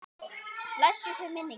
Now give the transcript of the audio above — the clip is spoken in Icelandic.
Blessuð sé minning hans.